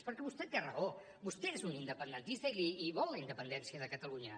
perquè vostè té raó vostè és un independentista i vol la independència de catalunya